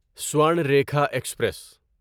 Swarnarekha express